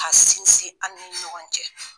Ka sinsin an ni ɲɔgɔn cɛ.